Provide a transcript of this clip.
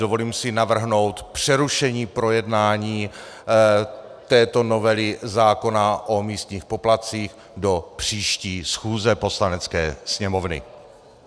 Dovolím si navrhnout přerušení projednání této novely zákona o místních poplatcích do příští schůze Poslanecké sněmovny.